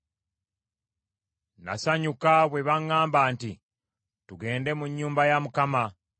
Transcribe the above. Nasanyuka bwe baŋŋamba nti, “Tugende mu nnyumba ya Mukama !”